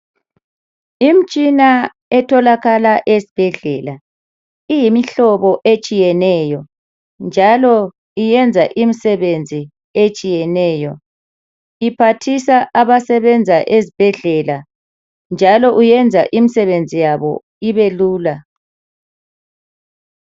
Imitshina etholakala esibhedlela iyimihlobo etshiyeneyo njalo yenza imisebenzi etshiyeneyo iphathisa abasebenza ezibhedlela njalo yenza imisebenzi yabo ibelula.